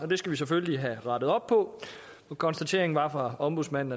det skal vi selvfølgelig have rettet op på konstateringen fra ombudsmanden